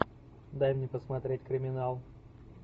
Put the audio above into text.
дай мне посмотреть криминал